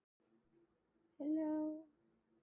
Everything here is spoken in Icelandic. Af hverju var Alþingi stofnað?